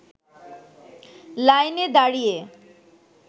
লাইনে দাঁড়িয়ে